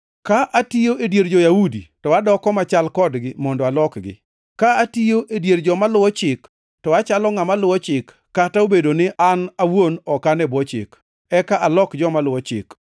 Ka atiyo e dier jo-Yahudi, to adoko machal kodgi mondo alokgi. Ka atiyo e dier joma luwo chik, to achalo ngʼama luwo chik (kata obedo ni an awuon ok an e bwo chik), eka alok joma luwo chik.